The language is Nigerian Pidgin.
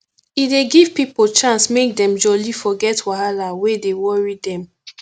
e dey give pipo chance make dem jolly forget wahala wey dey worry dem